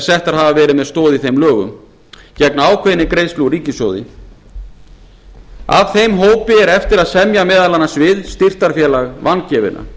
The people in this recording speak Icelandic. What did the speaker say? settar hafa verið með stoð í þeim lögum gegn ákveðinni greiðslu úr ríkissjóði af þeim hópi á eftir að semja meðal annars við styrktarfélag vangefinna